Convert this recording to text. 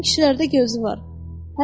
Bütün kişilərdə gözü var.